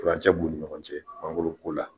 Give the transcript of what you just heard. Furancɛ b'u ni ɲɔgɔn cɛ mangoro ko la.